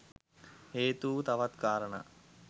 හේතු වූ තවත් කාරණා